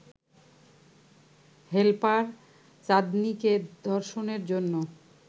helper চাঁদনীকে ধর্ষণের জন্য